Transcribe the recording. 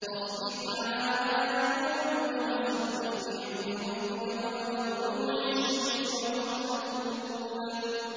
فَاصْبِرْ عَلَىٰ مَا يَقُولُونَ وَسَبِّحْ بِحَمْدِ رَبِّكَ قَبْلَ طُلُوعِ الشَّمْسِ وَقَبْلَ الْغُرُوبِ